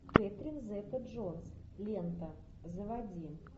кэтрин зета джонс лента заводи